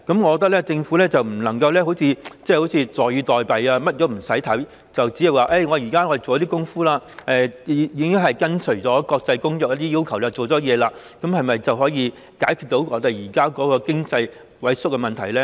我認為政府不可坐以待斃，甚麼數據都不看，只懂說現在已做了工夫，並已跟隨國際公約的要求，這樣是否便能解決現時經濟萎縮的問題呢？